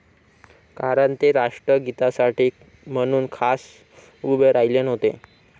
कारण ते राष्ट्रगीतासाठी म्हणून खास उभे राहिले नव्हते.